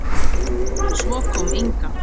Svo kom Inga.